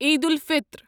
Eid الفِطر